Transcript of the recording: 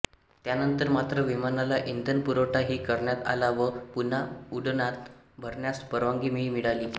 त्यानंतर मात्र विमानाला इंधन पुरवठा ही करण्यात आला व पुन्हा उडडाण भरण्यास परवानगी ही मिळाली